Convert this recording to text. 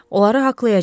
Onları haqlayacağıq.